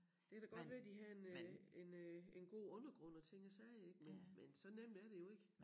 Det kan da godt være de har en øh en øh en god undergrund og ting og sager ik men men så nemt er det jo ikke